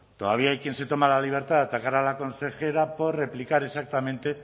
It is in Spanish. todavía hay quien se toma la libertad de atacar a la consejera por replicar exactamente